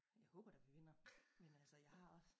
Jeg håber da vi vinder men altså jeg har også